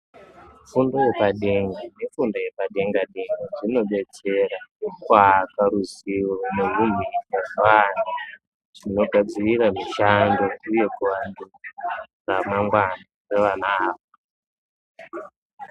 Fundo yepadenga nefundo yepadenga denga zvinodetsera kuaka ruzivo .................. zvinogadzirira mushando uye kugadzira ramangwana revana ava.